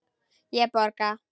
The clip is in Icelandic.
Ég borga.